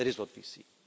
That is what we see.